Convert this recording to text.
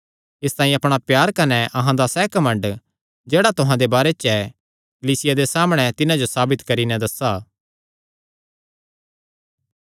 इसतांई अपणा प्यार कने अहां दा सैह़ घमंड जेह्ड़ा तुहां दे बारे च ऐ कलीसियां दे सामणै तिन्हां जो साबित करी नैं दस्सा